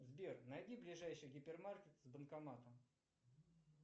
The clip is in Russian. сбер найди ближайший гипермаркет с банкоматом